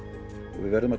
við verðum að